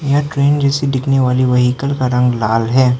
यहां ट्रेन जैसे दिखने वाले वेहीकल का रंग लाल है।